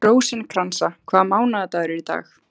Rósinkransa, hvaða mánaðardagur er í dag?